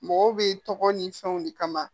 Mɔgɔw bɛ tɔgɔ ni fɛnw de kama